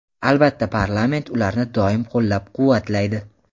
albatta parlament ularni doim qo‘llab-quvvatlaydi.